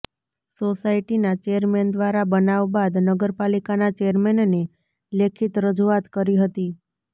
સોસાયટીના ચેરમેન દ્વારા બનાવ બાદ નગરપાલિકાના ચેરમેનને લેખિત રજુઆત કરી હતી